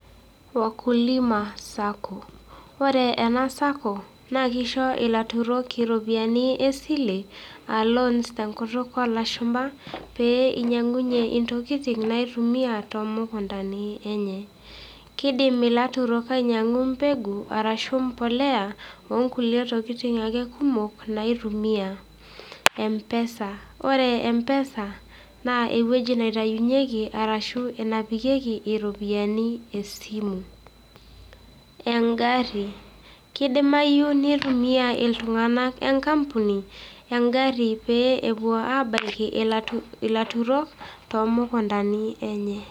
Wakulima sacco ore ana sacco naa keisho ilaturok iropiyiani esile aa loans te nkutuk oolashumba pee einyang'unye intokin naitumiyaa too mukuntani enyee, keidim ilaturok ainyang'u imbegu arashu imbolea oo nkule tokitin ake kumok naitumia mpesa ,ore mpesa naa eweji naitayunyeki arashu enepikeki iropiyiani esimu, eng'arri keidimayu neitumiya iltunganak enkapuni eng'arri peepo aabalaki ilaturok te mukuntani enye.